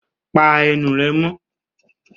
Pa ẹnu rẹ mọ́!